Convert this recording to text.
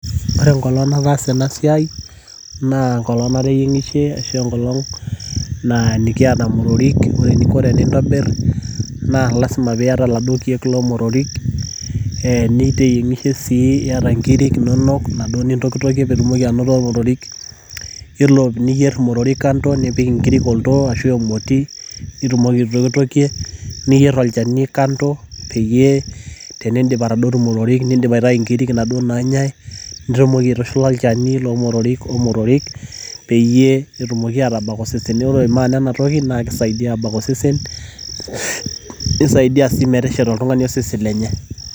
Ore enkolong nataasa ena siai naa enkolong nateyieng'ishie ashuu enkolong nikiata imotorik ore e eninko tenintabir naa lazima peiyata iladuoo kiek loomotorik niteyieng'ishe sii niaga inkirik inonok inaduo nintokitokie peitumoki anoto imotorik iyiolo niyier imotorik kando nipik inkirik oltoo ashuh emoti nitumoki aitokitokie niyier olchani kando peyie tenindip atodotu imotorik nindip aitayu inkirik inaduoo naanyai nitumoki aitushula olchani loomotorik omotorik peeyie etumoki aatabak osesen neeku ore maana ena toki naa keisaidia aabak osesen nisaidia sii metesheta oltung'ani osesen lenye.